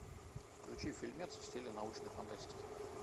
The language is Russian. включи фильмец в стиле научной фантастики